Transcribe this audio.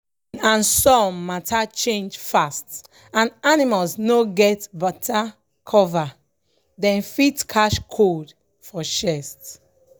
if rain and sun matter change fast and animals no get better cover dem fit catch cold for chest.